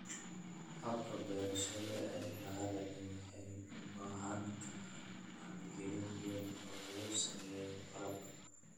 Hababka beerashada ee baaxadda leh waxay u baahan karaan maalgelin weyn oo lagu sameeyo qalabka.